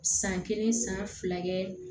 San kelen san fila kɛ